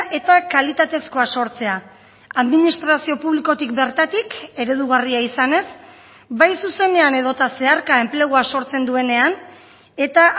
eta kalitatezkoa sortzea administrazio publikotik bertatik eredugarria izanez bai zuzenean edota zeharka enplegua sortzen duenean eta